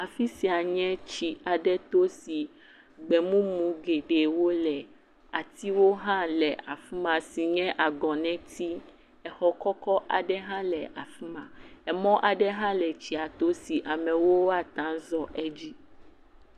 Afi sia nye tsi aɖe to si gbemumu geɖewo le, atiwo hã le afi ma si nye agɔnɛti. Exɔ kɔkɔ aɖe hã le afi ma. Emɔ aɖe hã le tsia to si amewo ate zɔ edzi